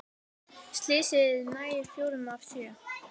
Slysið nær fjórum af sjö